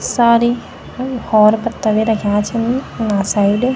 सारी होर पत्ता भी रख्यां छन उना साइड ।